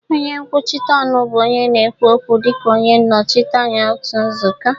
Onye nkwuchite ọnụ bụ onye na-ekwu okwu dịka onye nnọchite anya otu nzukọ.